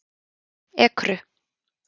Ekru